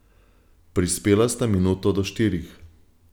Prispela sta minuto do štirih.